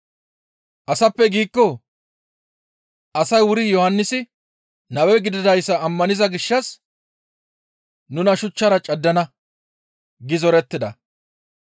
‹Asappe› giikko asay wuri Yohannisi nabe gididayssa ammaniza gishshas nuna shuchchara caddana» gi zorettida.